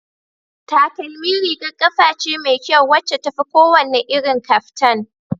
Takalmi rigar kafa ce mai kyau wacce tafi kowane irin kaftan